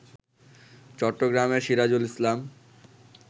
চট্টগ্রামের সিরাজুল ইসলাম